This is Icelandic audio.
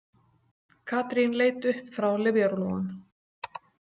Katrín leit upp frá lyfjarúllunum.